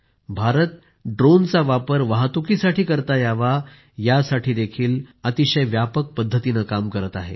भारत ड्रोनचा वापर वाहतुकीसाठी करता यावा यासाठी अतिशय व्यापक पद्धतीने काम करत आहे